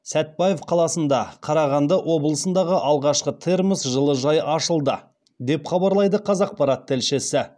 сәтбаев қаласында қарағанды облысындағы алғашқы термос жылыжай ашылды деп хабарлайды қазақпарат тілшісі